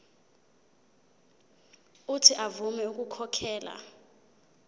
uuthi avume ukukhokhela